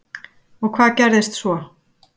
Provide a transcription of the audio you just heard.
Og hvað gerðist svo?